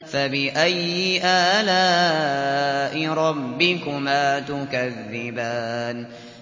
فَبِأَيِّ آلَاءِ رَبِّكُمَا تُكَذِّبَانِ